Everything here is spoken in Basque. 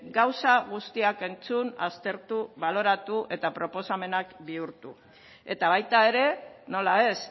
gauza guztiak entzun aztertu baloratu eta proposamenak bihurtu eta baita ere nola ez